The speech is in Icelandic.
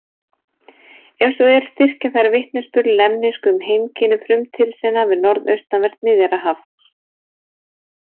Ef svo er styrkja þær vitnisburð lemnísku um heimkynni Frumtyrsena við norðaustanvert Miðjarðarhaf.